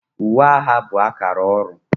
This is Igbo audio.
Uwe agha bụ akara ọrụ